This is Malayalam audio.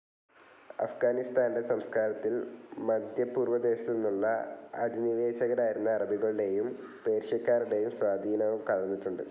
അഫ്ഗാനിസ്താന്റെ സംസ്കാരത്തിൽ മദ്ധ്യപൂർവ്വദേശത്തുനിന്നുള്ള അധിനിവേശകരായിരുന്ന അറബികളുടേയും പേർഷ്യക്കാരുടേയും സ്വാധീനവും കലർന്നിട്ടുണ്ട്.